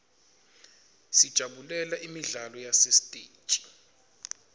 sijabulela imidlalo yasesiteji